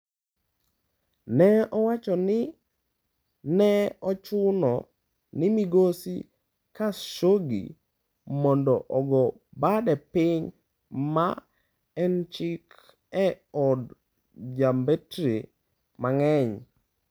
Ne owacho ni ne ochuno ni Migosi Khashoggi mondo ogo bade piny, ma en chik e od jombetre mang'eny.